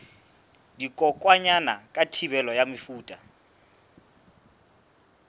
dikokwanyana ka thibelo ya mefuta